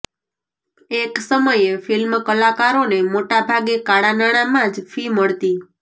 એક સમયે ફિલ્મ કલાકારોને મોટા ભાગે કાળા નાણાંમાં જ ફી મળતી